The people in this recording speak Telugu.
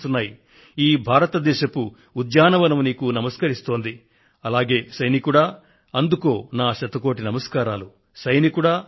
నేను కూడా కృతజ్ఞతలతో నీకు నమస్కరిస్తున్నాను ఓ సాహసవంతుడైన సైనికుడా